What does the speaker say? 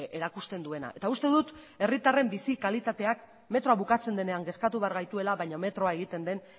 erakusten duena eta uste dut herritarren bizi kalitateak metroa bukatzen denean kezkatu behar gaituela baina metroa egiten den